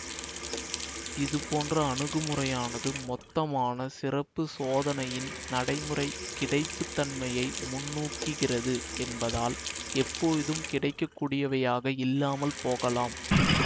இதுபோன்ற அணுகுமுறையானது மொத்தமான சிறப்பு சோதனையின் நடைமுறை கிடைப்புத்தன்மையை முன்னூகிக்கிறது என்பதால் எப்போதும் கிடைக்கக்கூடியவையாக இல்லாமல் போகலாம்